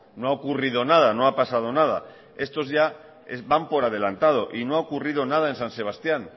no ha ocurrido nada no ha pasado nada estos ya van por adelantado y no ha ocurrido nada en san sebastián